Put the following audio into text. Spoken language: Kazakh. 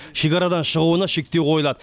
шекарадан шығуына шектеу қойылады